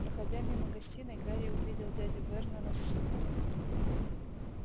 проходя мимо гостиной гарри увидел дядю вернона с сыном